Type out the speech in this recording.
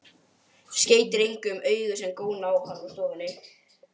Skeytir engu um augu sem góna á hann úr stofunni.